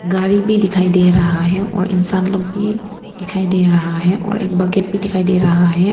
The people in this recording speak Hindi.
गाड़ी भी दिखाई दे रहा है और इंसान लोग भी दिखाई दे रहा है और एक बकेट भी दिखाई दे रहा है।